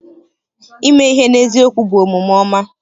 Ime ihe n'eziokwu bụ omume ọma.